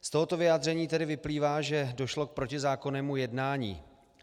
Z tohoto vyjádření tedy vyplývá, že došlo k protizákonnému jednání.